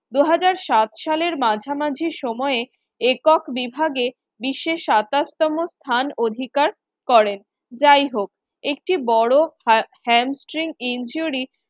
দু হাজার সাত সালের মাঝামাঝি সময়ে একক বিভাগে বিশ্বে সাতাশ তম স্থান অধিকার করেন। যাইহোক একটি বড় ha~ hamstring injury